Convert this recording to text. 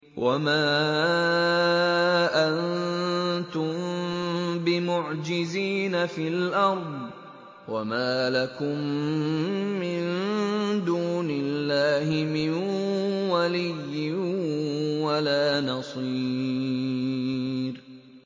وَمَا أَنتُم بِمُعْجِزِينَ فِي الْأَرْضِ ۖ وَمَا لَكُم مِّن دُونِ اللَّهِ مِن وَلِيٍّ وَلَا نَصِيرٍ